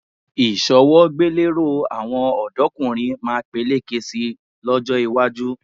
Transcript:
Ìṣọwọ́gbéléró àwọn ọ̀dọ́kùnrin máa peléke sí i lọ́jọ́ iwájú